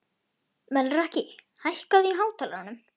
Melrakki, hækkaðu í hátalaranum.